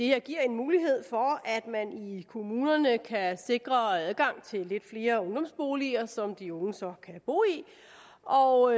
her giver en mulighed for at man i kommunerne kan sikre adgang til lidt flere ungdomsboliger som de unge så kan bo i og